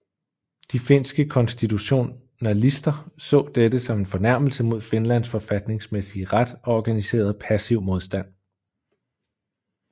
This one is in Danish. De finske konstitutionalister så dette som en fornærmelse mod Finlands forfatningsmæssige ret og organiserede passiv modstand